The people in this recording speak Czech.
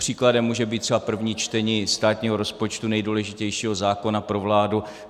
Příkladem může být třeba první čtení státního rozpočtu, nejdůležitějšího zákona pro vládu.